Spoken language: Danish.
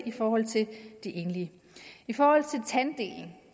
i forhold til de enlige i forhold til tanddelen